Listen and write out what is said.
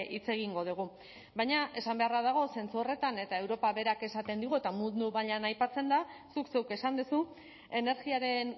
hitz egingo dugu baina esan beharra dago zentzu horretan eta europa berak esaten digu eta mundu mailan aipatzen da zuk zeuk esan duzu energiaren